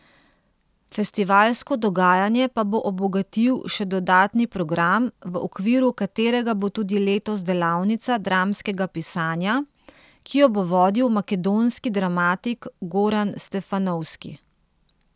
Festivalsko dogajanje pa bo obogatil še dodatni program, v okviru katerega bo tudi letos delavnica dramskega pisanja, ki jo bo vodil makedonski dramatik Goran Stefanovski.